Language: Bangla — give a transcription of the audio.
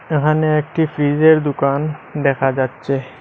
এহানে একটি ফ্রিজের দুকান দেখা যাচ্ছে।